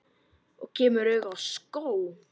Og kemur auga á skó.